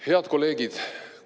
Head kolleegid!